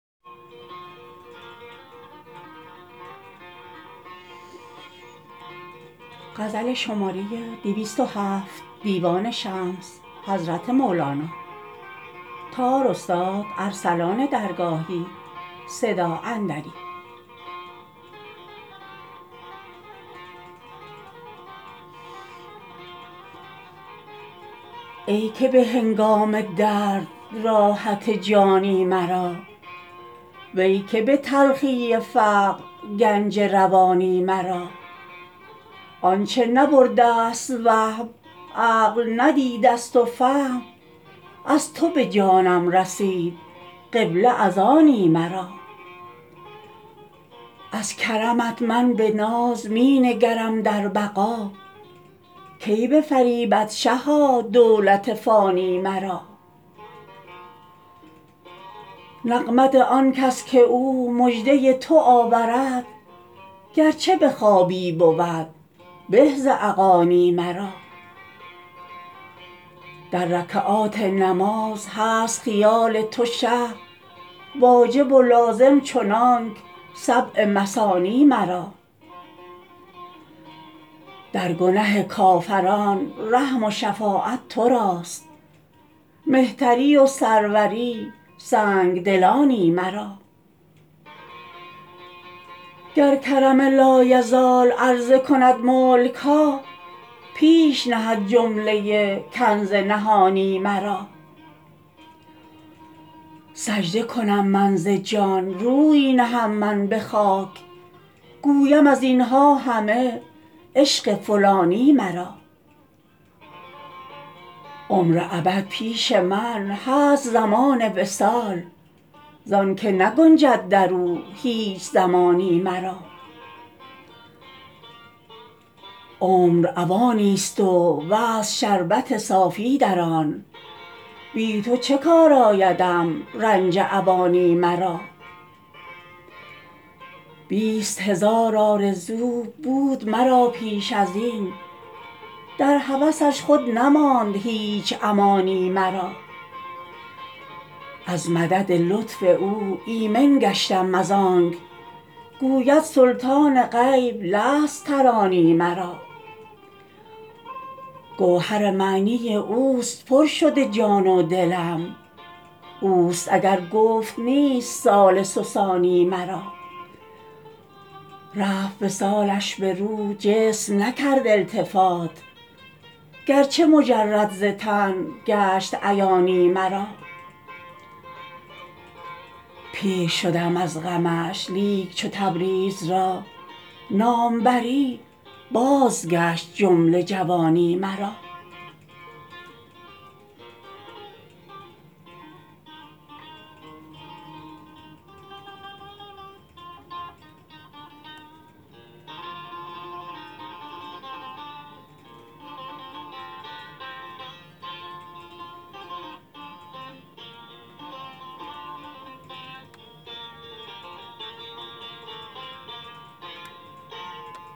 ای که به هنگام درد راحت جانی مرا وی که به تلخی فقر گنج روانی مرا آنچه نبرده ست وهم عقل ندیده ست و فهم از تو به جانم رسید قبله از آنی مرا از کرمت من به ناز می نگرم در بقا کی بفریبد شها دولت فانی مرا نغمت آنکس که او مژده ی تو آورد گرچه به خوابی بود به ز اغانی مرا در رکعات نماز هست خیال تو شه واجب و لازم چنانک سبع مثانی مرا در گنه کافران رحم و شفاعت تو راست مهتری و سروری سنگ دلانی مرا گر کرم لایزال عرضه کند ملک ها پیش نهد جمله ای کنز نهانی مرا سجده کنم من ز جان روی نهم من به خاک گویم از این ها همه عشق فلانی مرا عمر ابد پیش من هست زمان وصال زانک نگنجد در او هیچ زمانی مرا عمر اوانی ست و وصل شربت صافی در آن بی تو چه کار آیدم رنج اوانی مرا بیست هزار آرزو بود مرا پیش از این در هوسش خود نماند هیچ امانی مرا از مدد لطف او ایمن گشتم از آنک گوید سلطان غیب لست ترانی مرا گوهر معنی اوست پر شده جان و دلم اوست اگر گفت نیست ثالث و ثانی مرا رفت وصالش به روح جسم نکرد التفات گرچه مجرد ز تن گشت عیانی مرا پیر شدم از غمش لیک چو تبریز را نام بری بازگشت جمله جوانی مرا